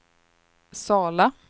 Sala